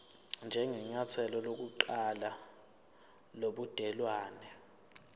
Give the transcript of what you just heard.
njengenyathelo lokuqala lobudelwane